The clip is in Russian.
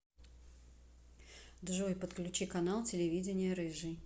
джой подключи канал телевидения рыжий